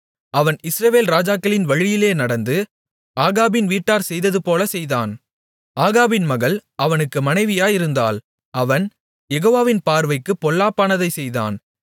அவன் இஸ்ரவேல் ராஜாக்களின் வழியிலே நடந்து ஆகாபின் வீட்டார் செய்ததுபோலச் செய்தான் ஆகாபின் மகள் அவனுக்கு மனைவியாயிருந்தாள் அவன் யெகோவாவின் பார்வைக்குப் பொல்லாப்பானதைச் செய்தான்